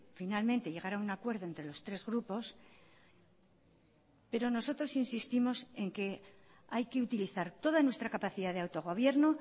finalmente llegar a un acuerdo entre los tres grupos pero nosotros insistimos en que hay que utilizar toda nuestra capacidad de autogobierno